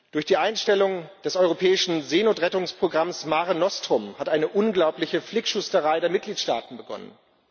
Durch die Einstellung des europäischen Seenotrettungsprogramms Mare Nostrum hat eine unglaubliche Flickschusterei der Mitgliedstaaten begonnen.